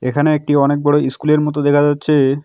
এখানে একটি অনেক বড়ো ইস্কুলের মত দেখা যাচ্ছে।